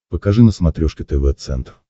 покажи на смотрешке тв центр